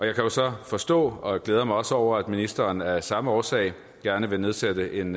jo kan så forstå og jeg glæder mig også over det at ministeren af samme årsag gerne vil nedsætte en